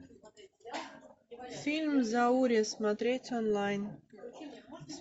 фильм заури смотреть онлайн